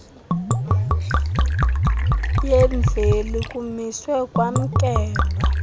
yemveli kumiswe kwamkelwa